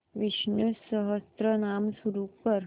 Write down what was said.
विष्णु सहस्त्रनाम सुरू कर